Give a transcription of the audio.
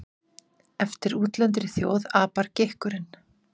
Eftir útlendri þjóð apar gikkurinn.